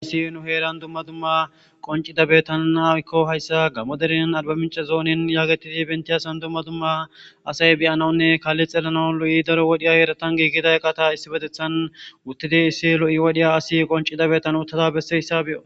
ayissi nu heeran dumma dumma qoncidabetananakko hayssa gammoderen alba mince zoonin yaagetidi bentiyasan dumma dumma asay beyanaunne kalli xelana lo7i daro wodhiya yeratan giigiday qata issi betethan wuttide issi lo7i wodhiya asi qoncidabetan uttada besseyssa be7o